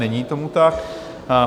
Není tomu tak.